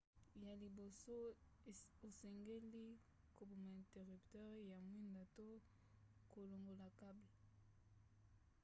ya liboso osengeli koboma interrupteur ya mwinda to kolongola cable